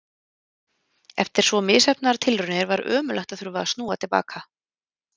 Eftir svo misheppnaðar tilraunir var ömurlegt að þurfa að snúa til baka.